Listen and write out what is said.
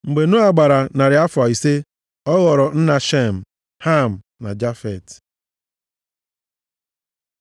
Mgbe Noa gbara narị afọ ise ọ ghọrọ nna Shem, Ham na Jafet.